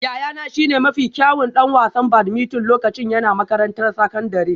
Yayana shine mafi kyawun ɗan wasan badminton lokacin yana makarantar sakandare